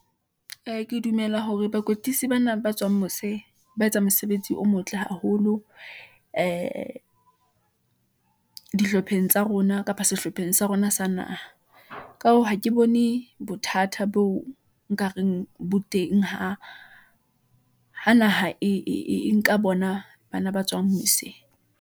Ee, ke dumela hore bakwetlisi bana ba tswang mose , ba etsang mosebetsi o motle haholo , ee dihlopheng tsa rona, kapa sehlopheng sa rona sa naha . Ka hoo, ha ke bone bothata boo nkareng bo teng ha naha, e nka bona bana ba tswang mose.